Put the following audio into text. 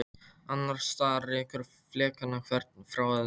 Annars staðar rekur flekana hvern frá öðrum.